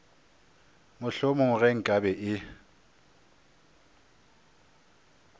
mohlomongwe ge nka be e